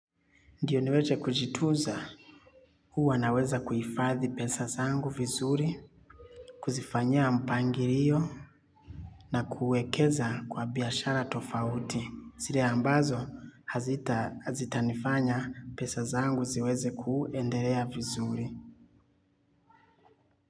Ndio niweze kujitunza huwa naweza kuifadhi pesa zangu vizuri, kuzifanyia mpangilio na kuekeza kwa biashara tofauti. Sile ambazo hazita hazita nifanya pesa zangu ziweze kuendelea vizuri.